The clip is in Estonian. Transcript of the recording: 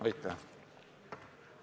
Aitäh!